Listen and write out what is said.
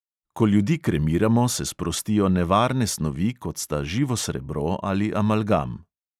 Ko ljudi kremiramo, se sprostijo nevarne snovi, kot sta živo srebro ali amalgam.